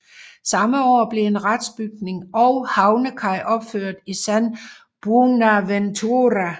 Samme år blev en retsbygning og havnekaj opført i San Buenaventura